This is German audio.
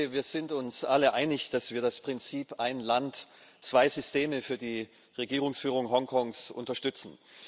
Ich denke, wir sind uns alle einig, dass wir das Prinzip ein Land, zwei Systeme für die Regierungsführung Hongkongs unterstützen.